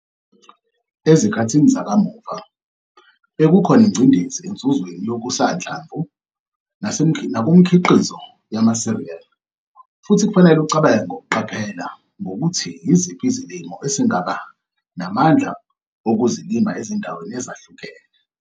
Ezikhathini zakamuva, bekukhona ingcindezi enzuzweni yokusanhlamvu nasemikhiqizo yamasiriyali futhi kufanele ucabange ngokuqaphela ngokuthi yiziphi izilimo esingaba namandla okuzilima ezindaweni ezahlukeni.